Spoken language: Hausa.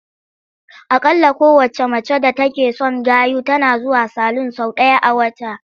Aƙalla kowacce mace d atake son gayu tana zuwa salun sau ɗaya a wata.